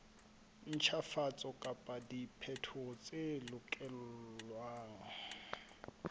ntjhafatso kapa diphetoho tse lokelwang